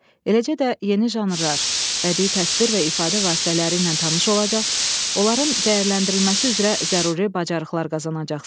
Eləcə də yeni janrlar, bədii təsvir və ifadə vasitələri ilə tanış olacaq, onların dəyərləndirilməsi üzrə zəruri bacarıqlar qazanacaqsınız.